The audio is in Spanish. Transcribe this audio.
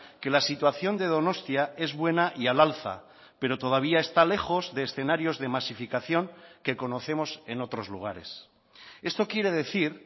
que la situación de donostia es buena y al alza pero todavía está lejos de escenarios de masificación que conocemos en otros lugares esto quiere decir